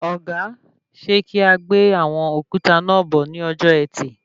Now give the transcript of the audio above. Ọ̀gá, ṣe kí a gbé àwọn òkúta náà bọ̀ ní ọjọ ẹtì?